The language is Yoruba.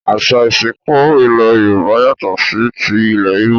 Àṣà ìsìnkú ilẹ̀ Yorùbá yàtọ̀ sí ti ìlẹ̀ Ìgbò